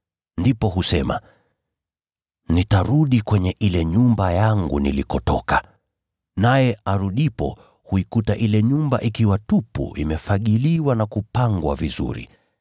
Ndipo husema, ‘Nitarudi kwenye nyumba yangu nilikotoka.’ Naye arudipo huikuta ile nyumba ikiwa tupu, imefagiliwa na kupangwa vizuri.